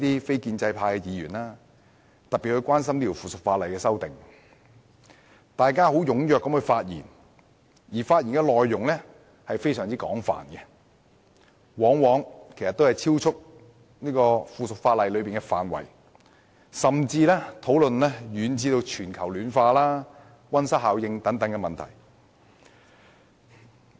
非建制派的議員尤其關心這項《修訂令》，紛紛踴躍發言，而且內容非常廣泛，往往超出附屬法例的涵蓋範圍，甚至遠及全球暖化和溫室效應等問題。